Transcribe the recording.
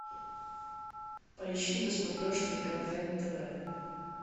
поищи на смотрешке квн тв